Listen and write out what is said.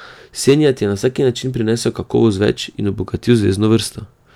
Senijad je na vsak način prinesel kakovost več in obogatil zvezno vrsto.